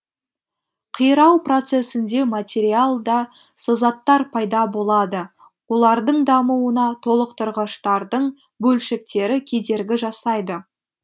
қирау процесінде материалда сызаттар пайда болады олардың дамуына толықтырғыштардың бөлшектері кедергі жасайды